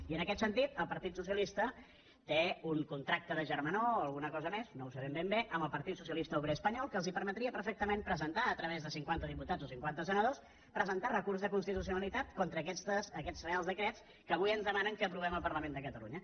i en aquest sentit el partit socialista té un contracte de germanor o alguna cosa més no ho sabem ben bé amb el partit socialista obrer espanyol que els permetria perfectament presentar a través de cinquanta diputats o cinquanta senadors recurs de constitucionalitat contra aquests reials decrets que avui ens demanen que aprovem al parlament de catalunya